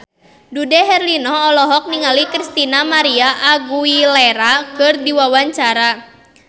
Dude Herlino olohok ningali Christina María Aguilera keur diwawancara